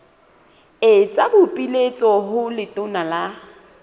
etsa boipiletso ho letona la